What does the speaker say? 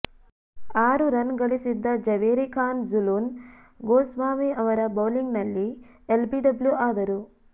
ಆರು ರನ್ ಗಳಿಸಿದ್ದ ಜವೇರಿ ಖಾನ್ ಜೂಲನ್ ಗೋಸ್ವಾಮಿ ಅವರ ಬೌಲಿಂಗ್ನಲ್ಲಿ ಎಲ್ಬಿಡಬ್ಲ್ಯು ಆದರು